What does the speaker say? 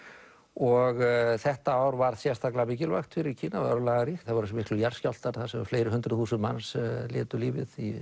og þetta ár var sérstaklega mikilvægt fyrir Kína og örlagaríkt það voru svo miklir jarðskjálftar þar sem fleiri hundruð þúsund manns létu lífið í